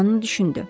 Rohan düşündü.